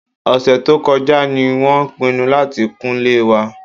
Ọ̀sẹ̀ tó kọjá ni wọ́n pinnu láti kunlé wa